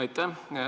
Aitäh!